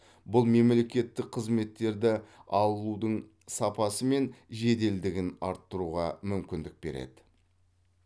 бұл мемлекеттік қызметтерді алудың сапасы мен жеделдігін арттыруға мүмкіндік береді